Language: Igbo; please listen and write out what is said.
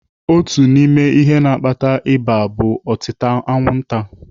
Otu n'ime ihe na-akpata ịba bụ otịta anwụnta.